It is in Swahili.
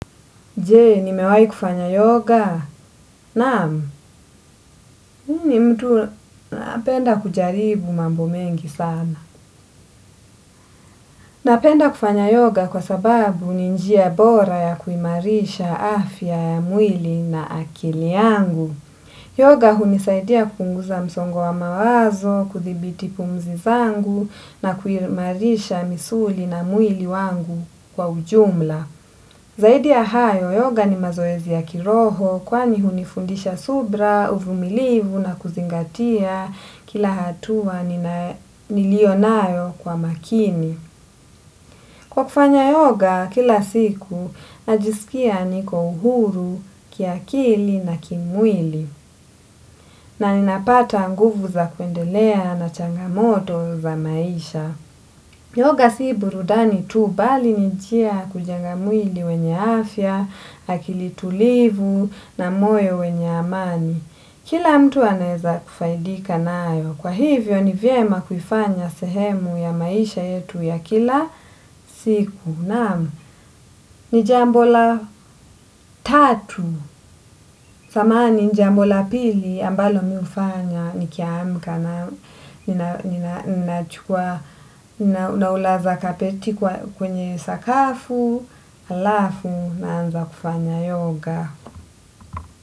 Jee, nimewai kufanya yoga? Naam, mimi ni mtu napenda kujaribu mambo mengi sana. Napenda kufanya yoga kwa sababu ni njia bora ya kuimarisha afya ya mwili na akili yangu. Yoga hunisaidia kupunguza msongo wa mawazo, kuthibiti pumzi zangu na kuimarisha misuli na mwili wangu kwa ujumla. Zaidi ya hayo, yoga ni mazoezi ya kiroho kwani hunifundisha subira, uvumilivu na kuzingatia kila hatua nilionayo kwa makini. Kwa kufanya yoga, kila siku najisikia niko uhuru, kiakili na kimwili na ninapata nguvu za kuendelea na changamoto za maisha. Yoga si burudani tu bali ni njia ya kujenga mwili wenye afya, akili tulivu na moyo wenye amani. Kila mtu anaeza kufaidika nayo. Kwa hivyo ni vyema kuifanya sehemu ya maisha yetu ya kila siku. Naam, ni jambo la tatu, samahani jambo la pili ambalo mimi hufanya nikiamka na ninaulaza kapeti kwenye sakafu, halafu naanza kufanya yoga.